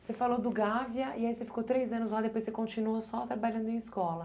Você falou do Gávea e aí você ficou três anos lá, depois você continuou só trabalhando em escola.